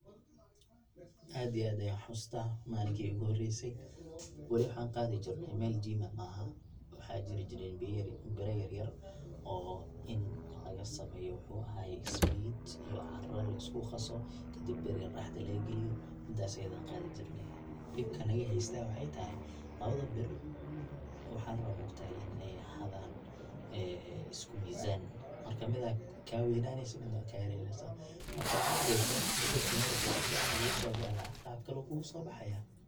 aad iyo aad ayan uxasuusta, malinki igu horeyse weli waxan qaadi jirne mel gym ah, waxaa jiri jireyn bira yar oo laga sameeyo muxuu aha ismid iyo caara lisku qaaso kadib bir yar dhaxda laga geliyo midaas ayada ayan qaadi jirnay, dhibka naga haysto aya waxay tahay labada bir waxaa la rabaa maogtahay in ay ahadan ee isku mizaan marka mida kaa weynaneysa midna way kayaraneysa, marka waxad arkeysa bedelki muruq si fican uu kuguso bixi lahaa qab kale uu kuguso baxayaa